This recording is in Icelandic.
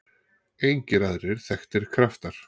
engir aðrir þekktir kraftar